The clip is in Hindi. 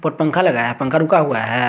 पंखा लगाया है पंखा रुका हुआ है।